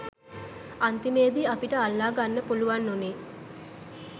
අන්තිමේදි අපිට අල්ලා ගන්න පුළුවන් වුණේ